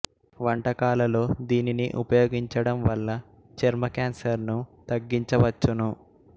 వంటకాలలో దీనిని ఉపయోగించడం వల్ల చర్మ కాన్సర్ ను తగ్గించవచ్చును